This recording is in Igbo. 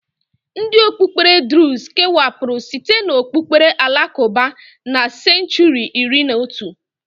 Ndi okpukpere drụz kewapuru site n'okpukpere alakụba na senchuri iri na otu.